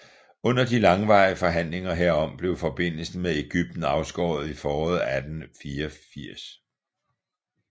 Under de langvarige forhandlinger herom blev forbindelsen med Egypten afskåret i foråret 1884